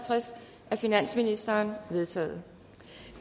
af finansministeren de er vedtaget